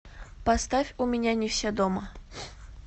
поставь у меня не все дома